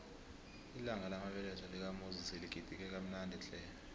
ilanga lamabeletho lakamuzi siligidinge kamnandi tle